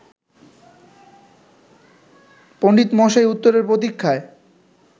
পণ্ডিতমশাই উত্তরের প্রতীক্ষায়